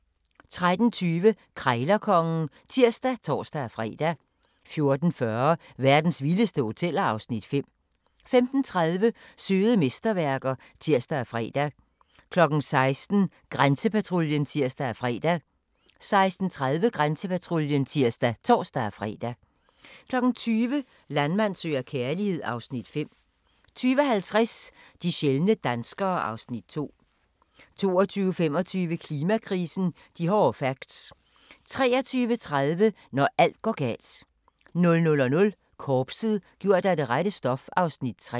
13:20: Krejlerkongen (tir og tor-fre) 14:40: Verdens vildeste hoteller (Afs. 5) 15:30: Søde mesterværker (tir og fre) 16:00: Grænsepatruljen (tir og fre) 16:30: Grænsepatruljen (tir og tor-fre) 20:00: Landmand søger kærlighed (Afs. 5) 20:50: De sjældne danskere (Afs. 2) 22:25: Klimakrisen - de hårde facts 23:30: Når alt går galt 00:00: Korpset - gjort af det rette stof (Afs. 3)